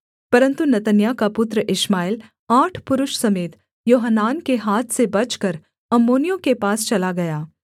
परन्तु नतन्याह का पुत्र इश्माएल आठ पुरुष समेत योहानान के हाथ से बचकर अम्मोनियों के पास चला गया